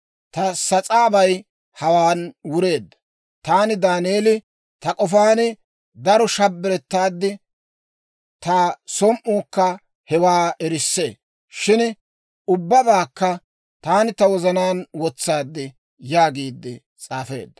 «Ta sas'aabay hawaan wureedda. Taani Daaneeli, ta k'ofaan daro shabbarettaad; ta som"iikka hewaa erissee. Shin ubbabaakka taani ta wozanaan wotsaad» yaagiide s'aafeedda.